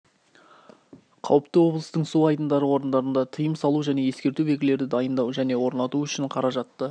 қауіпті облыстың су айдындары орындарында тыйым салу және ескерту белгілерді дайындау және орнату үшін қаражатты